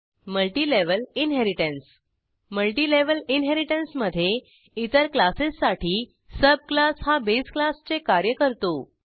multilevel inheritance multilevel inheritance मधे इतर क्लासेससाठी सब क्लास हा बेस क्लासचे कार्य करतो